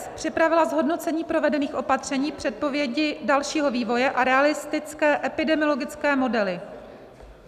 s) připravila zhodnocení provedených opatření, předpovědi dalšího vývoje a realistické epidemiologické modely.